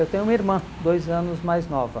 Eu tenho uma irmã, dois anos mais nova.